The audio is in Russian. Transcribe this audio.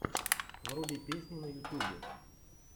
вруби песни на ютюбе